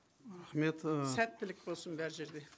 рахмет і сәттілік болсын бар жерде